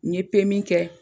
N ye PMI kɛ